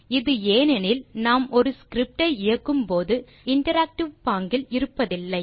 இது ஏனெனில் நாம் ஒரு ஸ்கிரிப்ட் ஐ இயக்கும் போது இன்டராக்டிவ் பாங்கில் இருப்பதில்லை